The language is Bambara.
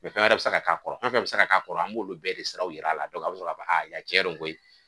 fɛn wɛrɛ bɛ se ka k'a fɛn fɛn bɛ se ka k'a kɔrɔ an b'olu bɛɛ de sira jira a la an bɛ sɔn k'a fɔ a tiɲɛ don koyi